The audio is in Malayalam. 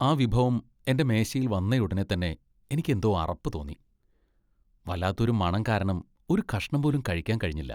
ആ വിഭവം എന്റെ മേശയിൽ വന്നയുടനെതന്നെ എനിക്ക് എന്തോ അറപ്പ് തോന്നി . വല്ലാത്ത ഒരു മണം കാരണം ഒരു കഷ്ണം പോലും കഴിക്കാൻ കഴിഞ്ഞില്ല.